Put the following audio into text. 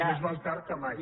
però més val tard que mai